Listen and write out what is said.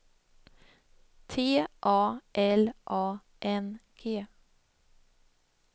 T A L A N G